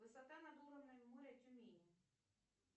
высота над уровнем моря тюмени